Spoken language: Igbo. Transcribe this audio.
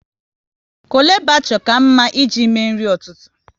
Chole bhature ka mma ị ji mee nri ụtụtụ